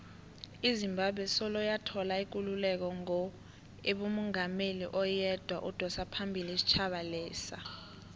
izimbabwe soloyathola ikululeko ngo ibenomungameli oyedwa odosaphambili isitjhaba lesa